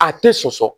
A tɛ soso